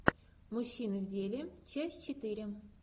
мужчины в деле часть четыре